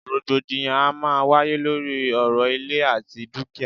Rògbòdìyàn a máà ń wáyé lóri ọ̀rọ̀ ìlẹ̀ àti dúkìá.